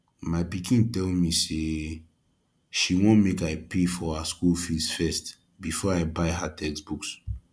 my pikin tell me say she wan make i pay for her school fees first before i buy her textbooks